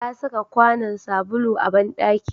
Ta saka kwanon sabulu a banɗaki